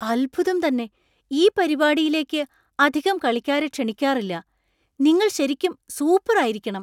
അത്ഭുതം തന്നെ ! ഈ പരിപാടിയിലേക്ക് അധികം കളിക്കാരെ ക്ഷണിക്കാറില്ല. നിങ്ങൾ ശരിക്കും സൂപ്പറായിരിക്കണം!